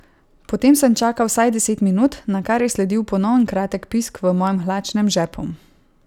Potem sem čakal vsaj deset minut, nakar je sledil ponoven kratek pisk v mojem hlačnem žepu.